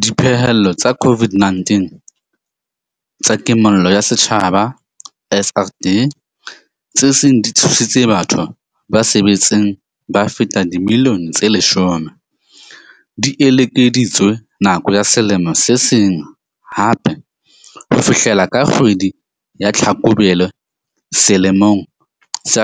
Diphehello tsa COVID-19 tsa Kimollo ya Setjhaba SRD, tse seng di thusitse batho ba sa sebetseng ba fetang dimilione tse 10, di ekeleditswe nako ya selemo se seng hape ho fihlela ka kgwedi ya Tlhakubele selemong sa